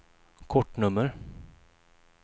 kortnummer